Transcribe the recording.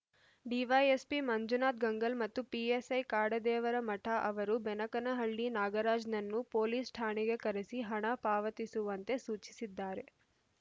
DYSP Manjunath Gangal ಮತ್ತು PSI Kadadevaramath ಅವರು ಬೆನಕನಹಳ್ಳಿ ನಾಗರಾಜ್‌ನನ್ನು ಪೊಲೀಸ್‌ ಠಾಣೆಗೆ ಕರೆಸಿ ಹಣ ಪಾವತಿಸುವಂತೆ ಸೂಚಿಸಿದ್ದಾರೆ